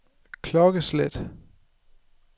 klokkeslæt